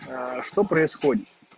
что происходит